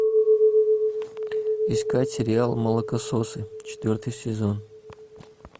искать сериал молокососы четвертый сезон